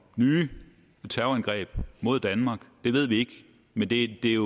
nye terrorangreb mod danmark det ved vi ikke men det er